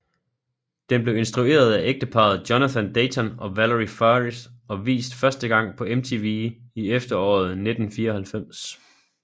Den blev instrueret af ægteparret Jonathan Dayton og Valerie Faris og vist første gang på MTV i efteråret 1994